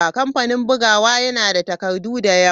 Kamfanin bugawa yana da takardu da yawa.